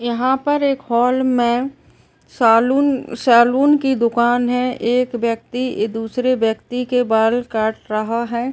यहाँ पर एक हॉल में सलून सलून की दुकान है एक व्यक्ति दूसरे व्यक्ति के बाल काट रहा है।